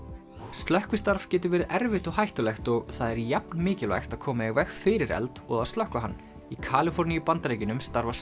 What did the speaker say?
slökkvistarf getur verið erfitt og hættulegt og það er jafnmikilvægt að koma í veg fyrir eld og að slökkva hann í Kaliforníu í Bandaríkjunum starfa